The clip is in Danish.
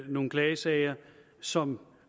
nogle klagesager som